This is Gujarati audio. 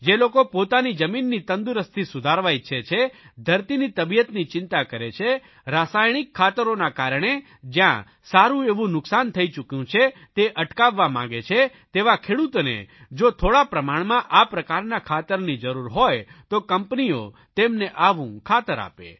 જે લોકો પોતાની જમીનની તંદુરસ્તી સુધારવા ઇચ્છે છે ધરતીની તબિયતની ચિંતા કરે છે રાસાયણિક ખાતરોના કારણે જયાં સારૂં એવું નુકસાન થઇ ચૂક્યું છે તે અટકાવવા માગે છે તેવા ખેડૂતોને જો થોડા પ્રમાણમાં આ પ્રકારના ખાતરની જરૂર હોય તો કંપનીઓ તેમને આવું ખાતર આપે